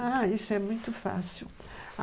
Ah, isso é muito fácil.